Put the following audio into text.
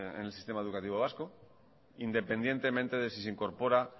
el sistema educativo vasco independientemente de si se incorpora